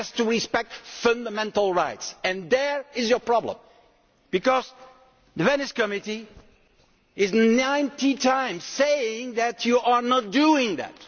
It has to respect fundamental rights and there is your problem, because the Venice Committee has said 90 times that you are not doing that.